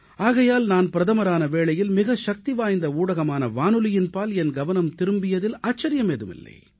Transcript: ஆகையால் நான் பிரதமரான வேளையில் மிகச் சக்திவாய்ந்த ஊடகமான வானொலியின் பால் என் கவனம் திரும்பியதில் ஆச்சரியமேதும் இல்லை